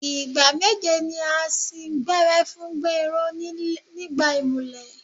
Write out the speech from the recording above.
Ìgbà meje ni wọ́n á sín gbẹ́rẹ́ fún Gbénró nígbà ìmùlẹ̀.